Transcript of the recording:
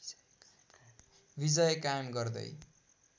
विजय कायम गर्दै